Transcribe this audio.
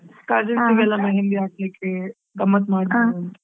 Cousins ಗೆಲ್ಲಾ mehendi ಹಾಕ್ಲಿಕ್ಕೆ ಗಮ್ಮತ್ ಮಾಡ್ಲಿಕ್ಕೆ .